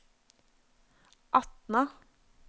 Atna